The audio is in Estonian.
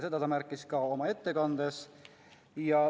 Seda ta märkis ka oma ettekandes.